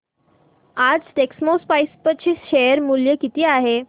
आज टेक्स्मोपाइप्स चे शेअर मूल्य किती आहे